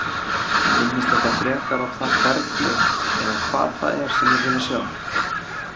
Minnast eitthvað frekar á það hvernig eða hvað það er sem þeir vilja sjá?